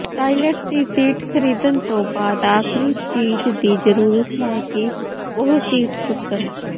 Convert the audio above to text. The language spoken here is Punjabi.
ਟਾਇਲਟ ਦੀ ਸੀਟ ਖਰੀਦਣ ਤੋਂ ਬਾਅਦ ਆਖਰੀ ਚੀਜ ਦੀ ਜ਼ਰੂਰਤ ਹੈ ਕਿ ਉਹ ਸੀਟ ਚੁੱਕਣ